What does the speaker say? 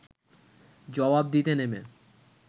জবাব দিতে নেমে